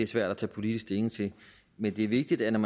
svært at tage politisk stilling til men det er vigtigt at man